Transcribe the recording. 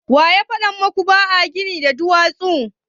Waya faɗa muku ba a gini da duwatsu?